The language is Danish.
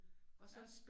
Ja